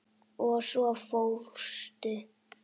Og svo fórstu.